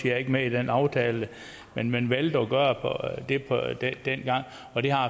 er ikke med i den aftale men man valgte at gøre det dengang og det har